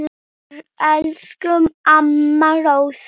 Elsku amma Rósa.